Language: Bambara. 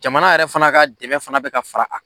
Jamana yɛrɛ fana ka dɛmɛ fana be ka fara a kan